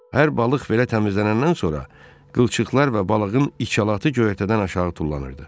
Hər balıq belə təmizlənəndən sonra qılçıqlar və balığın içalatı göyərtədən aşağı tullanırdı.